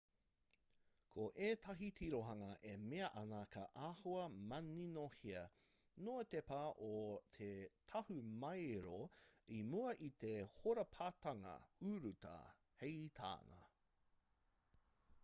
ko ētahi tirohanga e mea ana ka āhua maninohea noa te pā o te tahumaero i mua i te hōrapatanga urutā hei tāna